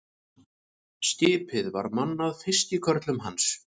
Skipið var mannað fiskikörlum hans.